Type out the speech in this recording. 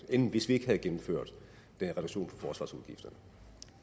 end hvis vi ikke havde gennemført den